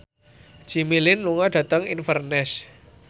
Jimmy Lin lunga dhateng Inverness